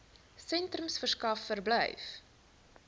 sentrums verskaf verblyf